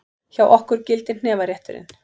Hjá okkur gildir hnefarétturinn!